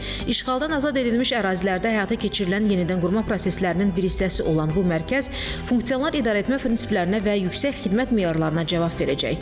İşğaldan azad edilmiş ərazilərdə həyata keçirilən yenidənqurma proseslərinin bir hissəsi olan bu mərkəz funksional idarəetmə prinsiplərinə və yüksək xidmət meyarlarına cavab verəcək.